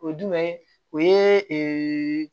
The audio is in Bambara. O ye jumɛn ye o ye